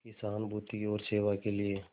की सहानुभूति और सेवा के लिए